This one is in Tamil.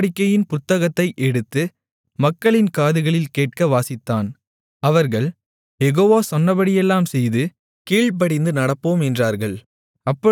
உடன்படிக்கையின் புத்தகத்தை எடுத்து மக்களின் காதுகளில் கேட்க வாசித்தான் அவர்கள் யெகோவா சொன்னபடியெல்லாம் செய்து கீழ்ப்படிந்து நடப்போம் என்றார்கள்